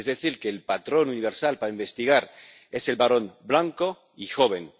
Es decir, que el patrón universal para investigar es el varón blanco y joven.